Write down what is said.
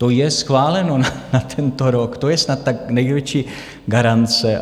To je schváleno na tento rok, to je snad ta největší garance.